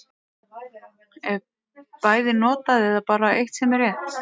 Er bæði notað, eða er bara eitt sem er rétt.